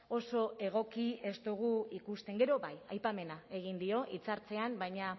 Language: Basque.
oso egoki ez dugu ikusten gero bai aipamena egin dio hitzartzean baina